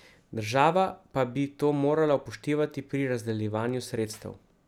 Država pa bi to morala upoštevati pri razdeljevanju sredstev.